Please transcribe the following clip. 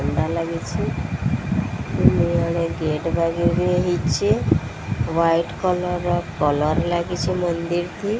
White colour colour ଲାଗିଚି ମନ୍ଦିର କି।